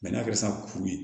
n'a kɛra sisan kuru ye